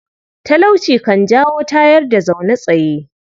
Talauci kan jawo tayar-da-zaune-tsaye.